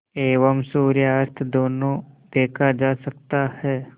एवं सूर्यास्त दोनों देखा जा सकता है